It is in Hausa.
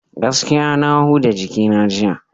Gaskiya na huda jikina jiya.